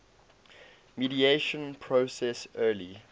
mediation process early